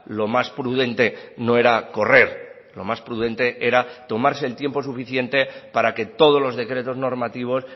lo más prudente no era correr lo más prudente era tomarse el tiempo suficiente para que todos los decretos normativos